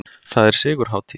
Það er sigurhátíð!